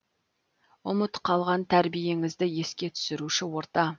ұмыт қалған тәрбиеңізді еске түсіруші орта